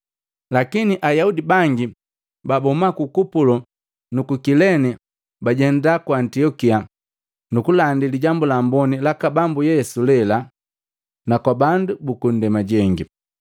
Lakini Ayaudi bangi babahuma ku Kupulo nuku Kilene, bajenda ku Antiokia nukulandi Lijambu la Amboni laka Bambu Yesu lela, kwa bandu buku ndema jengi.